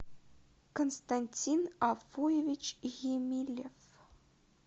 константин афуевич емилев